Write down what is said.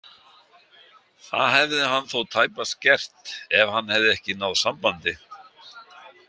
Það hefði hann þó tæpast gert ef hann hefði ekki náð sambandi.